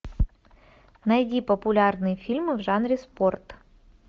найди популярные фильмы в жанре спорт